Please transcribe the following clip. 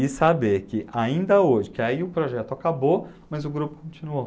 E saber que ainda hoje, que aí o projeto acabou, mas o grupo continuou.